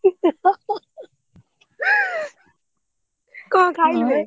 କଣ ଖାଇଲୁ ବେ?